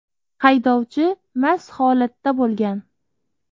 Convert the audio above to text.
Haydovchi mast holatda bo‘lgan.